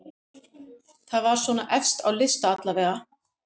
Það var svona efst á lista allavega.